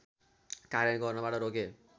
कार्य गर्नबाट रोके